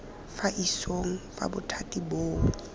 fa isong fa bothati boo